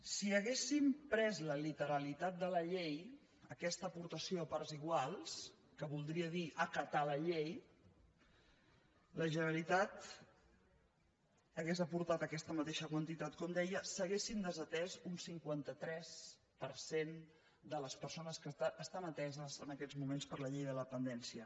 si haguéssim pres la literalitat de la llei aquesta aportació a parts iguals que voldria dir acatarhauria aportat aquesta mateixa quantitat com deia s’haurien desatès un cinquanta tres per cent de les persones que estan ateses en aquests moments per la llei de la dependència